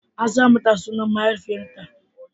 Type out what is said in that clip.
A sa mata sunan mahaifiyarta.